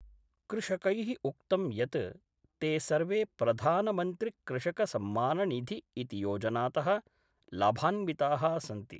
कृषकै: उक्तं यत् ते सर्वे प्रधानमन्त्रिकृषकसम्माननिधि इति योजनात: लाभान्विताः सन्ति।